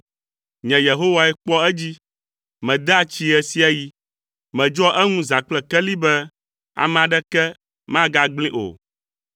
Nye Yehowae kpɔa edzi. Medea tsii ɣe sia ɣi. Medzɔa eŋu zã kple keli be ame aɖeke magagblẽe o.